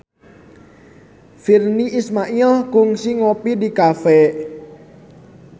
Virnie Ismail kungsi ngopi di cafe